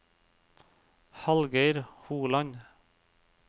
Hallgeir Holand